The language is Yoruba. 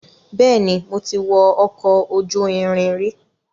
Bẹ́ẹ̀ni, mo ti wọ ọkọ̀ ojú irin rí.